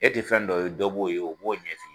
E tɛ fɛn dɔ ye dɔ b'o ye o b'o ɲɛ f'i ye